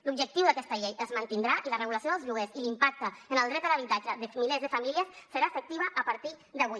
l’objectiu d’aquesta llei es mantindrà i la regulació dels lloguers i l’impacte en el dret a l’habitatge de milers de famílies seran efectius a partir d’avui